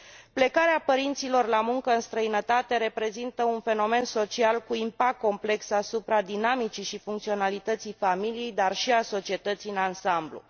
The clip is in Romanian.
Plecarea părinților la muncă în străinătate reprezintă un fenomen social cu impact complex asupra dinamicii și funcționalității familiei, dar și a societății în ansamblu.